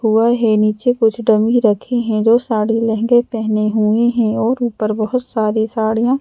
हुआ है नीचे कुछ डमी रखे हैं जो साड़ी लहंगे पहने हुए हैं और ऊपर बहुत सारी साड़ियाँ --